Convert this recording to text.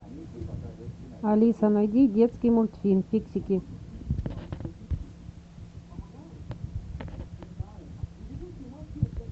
алиса найди детский мультфильм фиксики